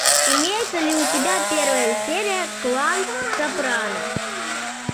имеется ли у тебя первая серия клан сопрано